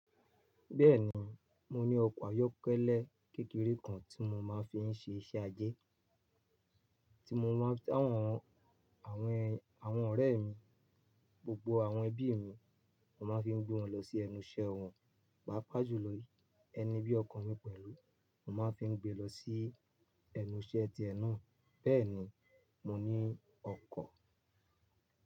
Bẹ́ẹ̀ni, mo ní ọkọ̀ ayọ́kẹ́lẹ́ kékeré kan tí mo máa ń fi ń ṣe iṣẹ́ ajé, tí mo máa ń ti àwọn, àwọn àwọn ọ̀rẹ́ mi, gbogbo àwọn ẹbí mi, mo máa ń fi gbé wọn lọ sí ẹnu iṣẹ́ wọn. Pàápàá jù lọ ẹni bí ọkan mi pẹ̀lú, mo máa ń fi gbé lọ sí ẹnu iṣẹ́ ti ẹ náà. Bẹ́ẹ̀ni, mo ní ọkọ̀.